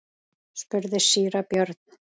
spurði síra Björn.